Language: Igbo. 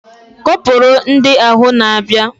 Kọpura ndị ahụ na abia